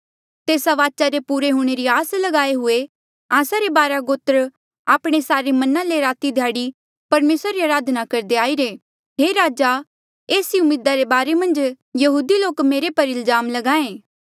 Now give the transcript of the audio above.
तेस्सा वाचा रे पुरे हूंणे री आस लगाए हुए आस्सा रे बारा गोत्र आपणे सारे मना ले राती ध्याड़ी परमेसरा री अराधना करदे आईरे हे राजा एस ई उम्मीदा रे बारे मन्झ यहूदी लोक मुंजो पर इल्जाम ल्गाहें